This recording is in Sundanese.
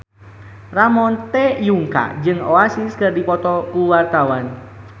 Ramon T. Yungka jeung Oasis keur dipoto ku wartawan